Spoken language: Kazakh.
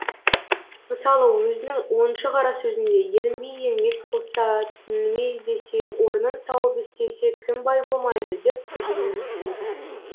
мысалы өзінің оныншы қара сөзінде ерінбей еңбек қылса түңілмей іздесе орнын тауып істесе кім бай болмайды деп тұжырым жасайды